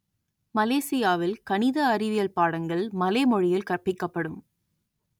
மலேசியாவில் கணித அறிவியல் பாடங்கள் மலே மொழியில் கற்பிக்கப்படும்